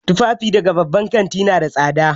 Tufafi daga babban kanti nada tsada